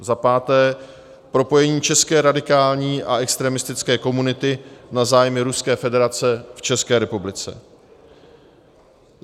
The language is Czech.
za páté: propojení české radikální a extremistické komunity na zájmy Ruské federace v České republice;